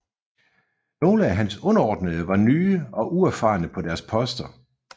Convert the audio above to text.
Nogle af hans underordnede var nye og uerfarne på deres poster